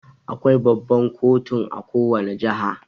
Akwai Baban kotun a kowanne jiha.